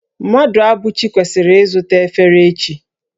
Mmadụabụchi kwesiri izuta efere echi